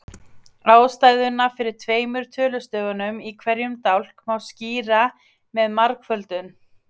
Ástæðuna fyrir tveimur tölustöfum í hverjum dálk má skýra með margföldun.